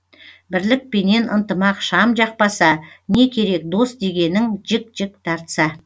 бірлік пенен ынтымақ шам жақпаса не керек дос дегенің жік жік тартса